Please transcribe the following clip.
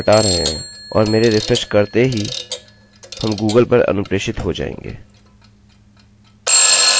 यदि हम इसे कमेन्ट कर के हटा रहे हैं और मेरे रिफ्रेशrefresh करते ही हम गूगल पर अनुप्रेषित हो जाएँगे